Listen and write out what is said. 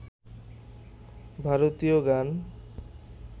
ভারতীয় গান